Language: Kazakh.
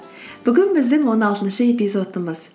бүгін біздің он алтыншы эпизодымыз